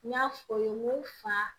N y'a fɔ ye n ko fa